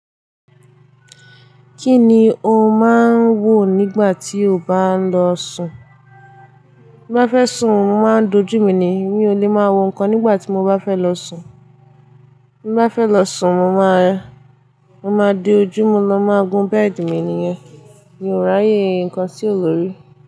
Kí ni o máa ń wo nígbà tí o bá ń lọ sùn? Bí bá fẹ́ sùn, mo máa dojú mi ni. Mi ò lè máa wo nǹkan nígbà tí mo bá fẹ́ lọ sùn. Bí bá fẹ́ lọ sùn, mo máa, mo máa di ojú, mo ma máa gun bẹ́ẹ̀dì mi nìyẹn. Mi ò ráyè nǹkan tí ò lòrì.